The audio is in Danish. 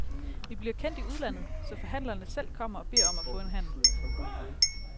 Vi bliver kendt i udlandet, så forhandlerne selv kommer og beder om at få en handel.